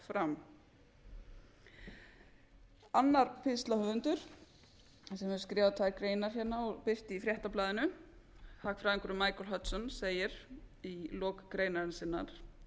fram annar pistlahöfundur sem hefur skrifað tvær greinar og birt í fréttablaðinu hagfræðingurinn michael hudson segir í lok greinar sinnar